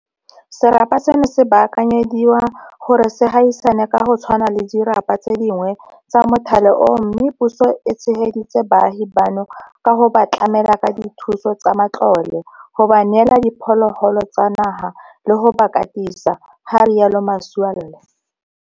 Serapa seno se baakanyediwa gore se gaisane ka go tshwana le dirapa tse dingwe tsa mothale oo mme puso e tshegeditse baagi bano ka go ba tlamela ka dithuso tsa matlole, go ba neela diphologolo tsa naga le go ba katisa, ga rialo Masualle.